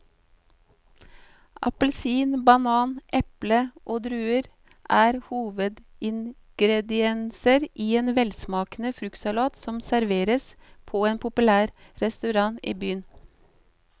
Appelsin, banan, eple og druer er hovedingredienser i en velsmakende fruktsalat som serveres på en populær restaurant i byen.